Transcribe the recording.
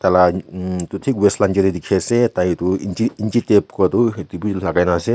tah lah emmm etu tik waist ase tai tu engine tape kora tu hotu bhi lagai na ase.